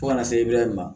Fo ka na se bɛɛ ma